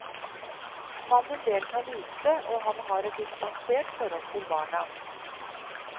Mannen deltar lite, og han har et distansert forhold til barna.